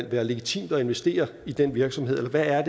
være legitimt at investere i den virksomhed eller hvad er